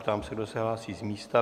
Ptám se, kdo se hlásí z místa?